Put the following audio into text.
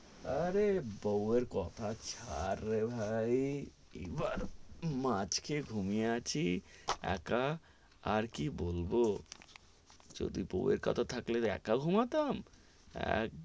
আরে বৌয়ের কথা চার রে ভাই, এবার মাছ খেয়ে ঘুমিয়ে আছি, একা, আর কি বলবো, যদি বৌয়ের কথা থাকলে এক ঘুমাতাম,